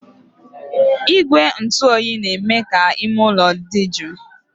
Igwe ntụ oyi na-eme ka ime ụlọ dị jụụ